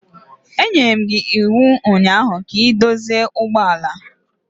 Enyere m gi iwu ụnyaahụ ka ị dozie ụgbọ ala!